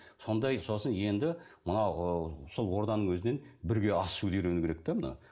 сондай сосын енді мына ы сол орданың өзінен бірге ас ішуді үйрену керек те мына